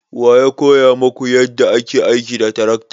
Wa ya koya maku yadda ake aiki da tarakta?